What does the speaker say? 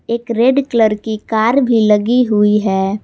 एक red colour की car भी लगी हुई है।